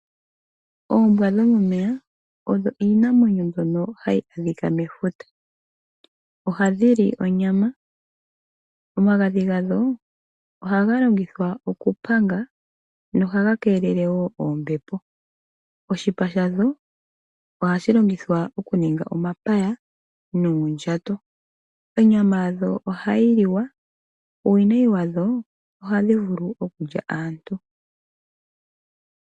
Oombwa dho momeya odho iinamwenyo mbyono hayi adhika mefuta. Ohadhi li onyama. Omagadhi gadho ohaga longithwa okupanga, nohaga keelele wo oombepo. Oshipa shadho ohashi longithwa okuninga omapaya nuundjato. Onyama yadho ohayi liwa, uuwnayi wadho ohadhi vulu okulya aantu.